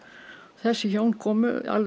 þessi hjón komu alveg